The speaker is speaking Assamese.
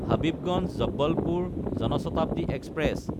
হাবিবগঞ্জ–জবলপুৰ জন শতাব্দী এক্সপ্ৰেছ